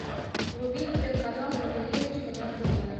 вруби телеканал ювелирочка на тв